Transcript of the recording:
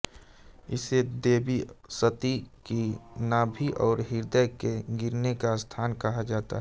इसे देवी सती की नाभि और हृदय के गिरने का स्थान कहा जाता है